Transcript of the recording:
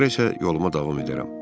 Sonra isə yoluma davam edərəm.